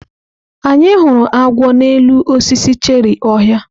Anyị hụrụ agwọ n'elu osisi cherị ọhịa.